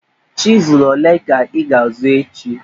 Chizụl ole ka ị ga-azụ echi?